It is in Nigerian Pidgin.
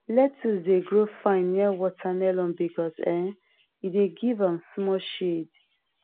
lettuce dey grow fine near watermelon because um e dey give am small shade